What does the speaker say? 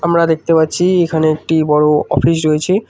আমরা দেখতে পাচ্ছি এখানে একটি বড় অফিস রয়েছে।